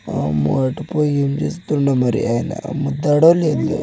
వామ్మో అటు పోయే ఎం చేస్తుందో మరి ఆయన అమ్ముతడో లేదో.